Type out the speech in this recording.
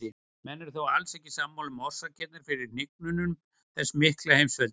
Menn eru þó alls ekki sammála um orsakirnar fyrir hnignun þessa mikla heimsveldis.